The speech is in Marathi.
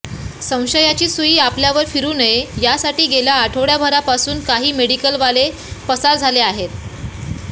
संशयाची सुई आपल्यावर फिरू नये यासाठी गेल्या आठवडाभरापासून काही मेडिकलवाले पसार झाले आहे